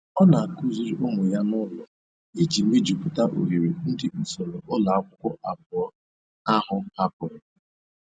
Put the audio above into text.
Ọ na-akụziri ụmụ ya n'ụlọ iji mejupụta oghere ndị usoro ụlọ akwụkwọ abụọ ahụ hapụrụ.